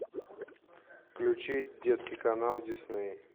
включи детский канал дисней